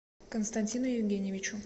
константину евгеньевичу